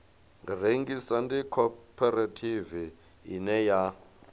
rengisa ndi khophorethivi ine ya